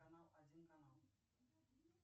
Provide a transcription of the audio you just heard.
канал один канал